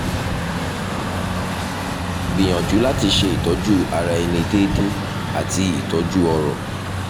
gbìyànjú láti ṣe ìtọ́jú ara ẹni déédéé àti ìtọ́jú ọ̀rọ̀